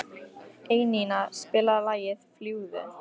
Einína, spilaðu lagið „Fljúgðu“.